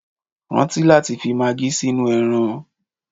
Rántí láti fi magí sínú ẹran